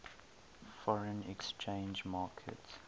foreign exchange market